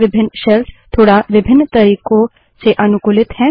विभिन्न शेल्स थोड़ा विभिन्न तरीकों से अनुकूलित हैं